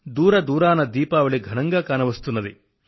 దూరదూరానా దీపావళి ఘనంగా కానవస్తుంది